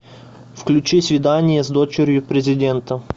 включи свидание с дочерью президента